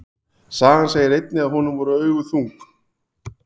Sagan segir einnig að honum voru augu þung.